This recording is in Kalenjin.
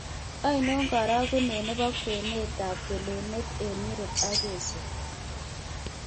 Ainon karagunet ne po kwenetap kelunet eng' Europe ak Asia